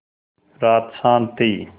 रात शान्त थी